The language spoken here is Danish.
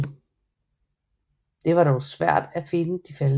Det var dog svært at finde de faldne